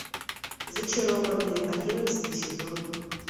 зачарованные одиннадцатый сезон